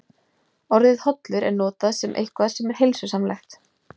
Orðið hollur er notað um eitthvað sem er heilsusamlegt.